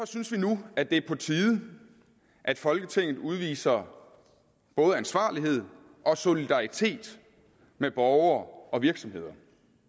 synes vi nu at det er på tide at folketinget udviser både ansvarlighed og solidaritet med borgere og virksomheder